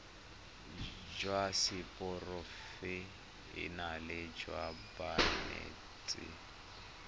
jwa seporofe enale jwa banetshi